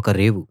ఒక రేవు